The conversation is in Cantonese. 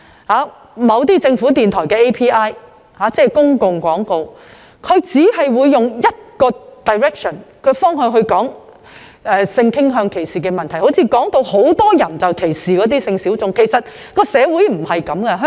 我經常聽到政府電台的 API 只用單一方向表達性傾向歧視的問題，說得好像很多人歧視性小眾，但其實社會不是這樣的。